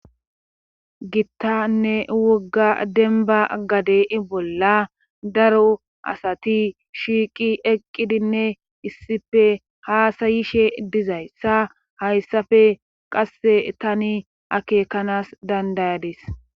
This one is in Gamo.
Gittanne wogga gade bolla daro asati shiiqi eqqidinne issipe haasa7ishe dizayssa haysafe qasse tani akeekanas danddayades.